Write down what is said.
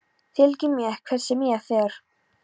Fylgir mér hvert sem ég fer.